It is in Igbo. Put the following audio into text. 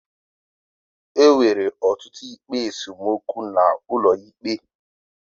Enwere ọtụtụ ikpe esemokwu ala n'ụlọ ikpe.